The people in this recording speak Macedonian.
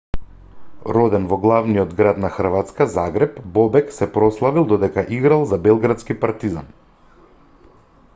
роден во главниот град на хрватска загреб бобек се прославил додека играл за белградски партизан